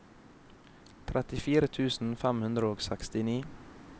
trettifire tusen fem hundre og sekstini